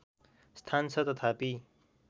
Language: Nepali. स्थान छ तथापि